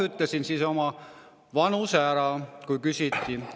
" Ütlesin oma vanuse, kui küsiti.